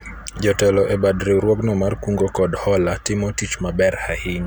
jotelo e bad riwruogno mar kungo kod hola timo tich maber ahinya